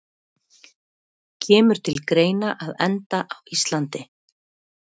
Kemur til greina að enda á Íslandi?